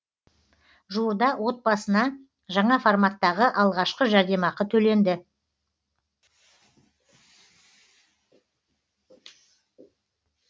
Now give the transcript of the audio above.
жуырда отбасына жаңа форматтағы алғашқы жәрдемақы төленді